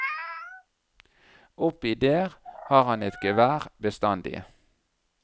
Oppi der har han et gevær bestandig.